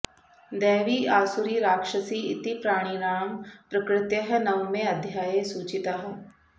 दैवी आसुरी राक्षसी इति प्राणिणां प्रकृतयः नवमे अध्याये सूचिताः